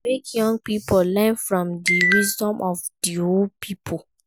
Make young pipo learn from the wisdom of di old pipo